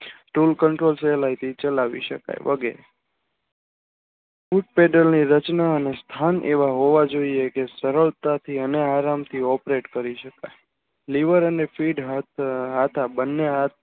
તેવું control સહેલાય થી ચલાવી શકાય વગેરે રચના અને સ્થાન એવા હોવા જોઇએ કે સરળતાથી અને આરામ થી operator કરી શકાય લીવર અને કિડની બને હાથ